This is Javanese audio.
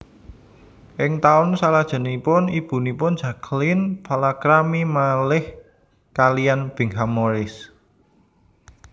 Ing taun salajengipun ibunipun Jacqueline palakrami malih kaliyan Bingham Morris